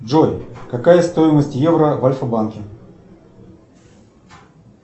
джой какая стоимость евро в альфа банке